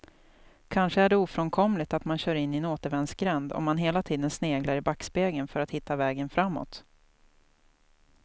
Kanske är det ofrånkomligt att man kör in i en återvändsgränd om man hela tiden sneglar i backspegeln för att hitta vägen framåt.